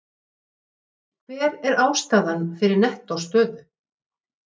Hver er ástæðan fyrir nettó stöðu?